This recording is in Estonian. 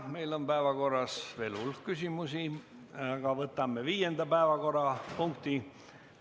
Meil on päevakorras veel hulk küsimusi, aga võtame viienda päevakorrapunkti.